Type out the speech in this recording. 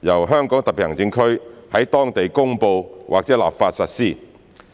由香港特別行政區在當地公布或立法實施。